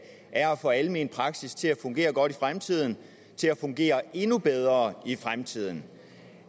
er at få almen praksis til at fungere godt i fremtiden til at fungere endnu bedre i fremtiden